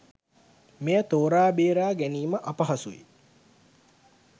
මෙය තෝරා බේරා ගැනීම අපහසුයි.